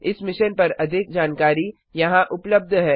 इस मिशन पर अधिक जानकारी यहां उपलब्ध है